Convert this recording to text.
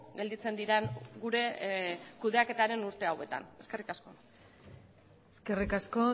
gelditzen diren gure kudeaketaren urte hauetan eskerrik asko eskerrik asko